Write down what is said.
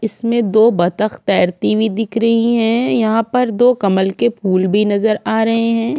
इसमें दो बत्तख तैरती हुई दिख रही है यहाँ पर दो कमल के फूल भी नजर आ रहे हैं।